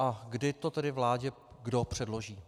A kdy to tedy vládě kdo předloží?